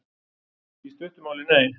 Í stuttu máli, nei.